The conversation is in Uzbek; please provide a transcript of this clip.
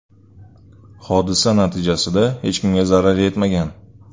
Hodisa natijasida hech kimga zarar yetmagan.